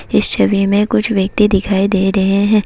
इस छवि में कुछ व्यक्ति दिखाई दे रहे हैं।